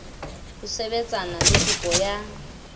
ho sebetsana le kopo ya